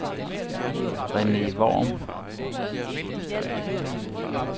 Rene Worm